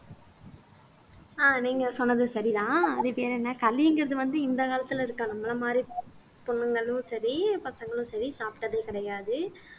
அஹ் நீங்க சொன்னது சரிதான் அது பேர் என்ன களிங்கிறது வந்து இந்த காலத்துல இருக்கா நம்மளை மாதிரி பொண்ணுங்களும் சரி பசங்களும் சரி சாப்பிட்டதே கிடையாது